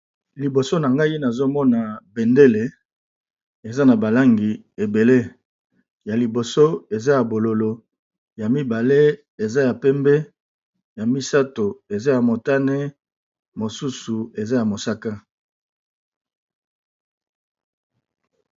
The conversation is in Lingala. Liboso na ngai nazomona bendele eza na balangi ebele ya liboso eza ya bololo ya mibale eza ya pembe ya misato eza ya motane mosusu eza ya mosaka.